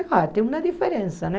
Sei lá, tem uma diferença, né?